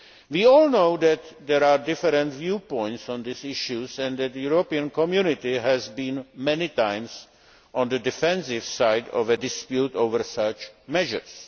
We all know that there are different viewpoints on these issues and that the European Community has been many times on the defensive side of a dispute over such measures.